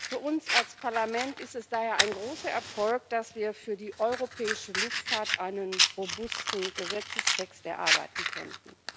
Für uns als Parlament ist es daher ein großer Erfolg, dass wir für die europäische Luftfahrt einen robusten Gesetzestext erarbeiten konnten.